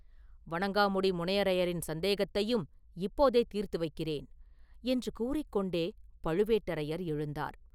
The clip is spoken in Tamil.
வணங்காமுடி முனையரையரின் சந்தேகத்தையும் இப்போதே தீர்த்து வைக்கிறேன்!” என்று கூறிக் கொண்டே பழுவேட்டரையர் எழுந்தார்.